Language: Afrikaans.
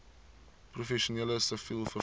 professioneel siviel vervoer